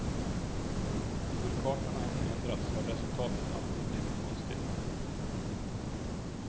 Hur kartorna än ändrats har resultatet alltid blivit konstigt.